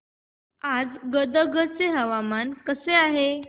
आज गदग चे हवामान कसे आहे